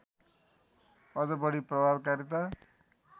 अझ बढी प्रभावकारिता